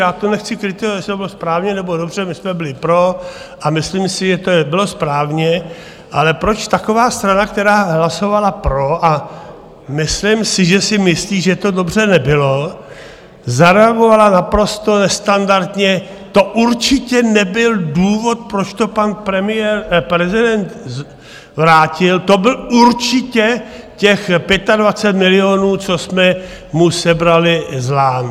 Já to nechci kritizovat, jestli to bylo správně nebo dobře, my jsme byli pro a myslím si, že to bylo správně, ale proč taková strana, která hlasovala pro - a myslím si, že si myslí, že to dobře nebylo - zareagovala naprosto nestandardně: To určitě nebyl důvod, proč to pan prezident vrátil, to bylo určitě těch 25 milionů, co jsme mu sebrali z Lán.